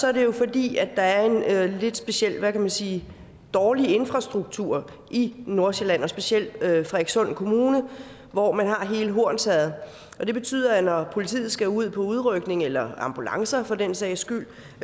er det jo fordi der er en lidt speciel hvad kan man sige dårlig infrastruktur i nordsjælland og specielt i frederikssund kommune hvor man har hele hornsherred det betyder at når politiet skal ud på udrykning eller ambulancer for den sags skyld